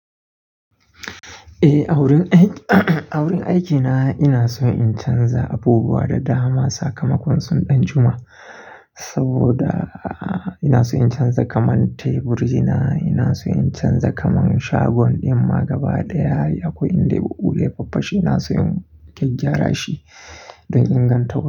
Eh, a wurin aiki a wurin aikina ina so in canza abubuwa da dama. Sakamakonsun ɗan juma saboda ina so in canza kaman teburi na, ina so in canza kaman shagon ɗin ma gaba da yari akwai inda buhu dai faffashi. Ina so in gyarra shi don in gan tau.